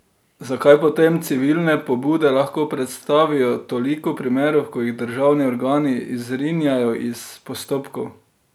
Zakaj potem civilne pobude lahko predstavijo toliko primerov, ko jih državni organi izrinjajo iz postopkov?